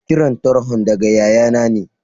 Kiran tarhon daga ƴaƴanna ne.